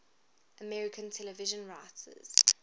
american television writers